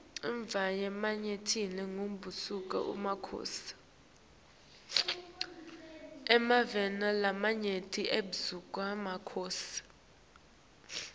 emave lamanyenti bekabuswa makhosi